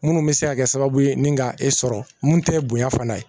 Minnu bɛ se ka kɛ sababu ye ni ka e sɔrɔ mun tɛ ye bonya fana ye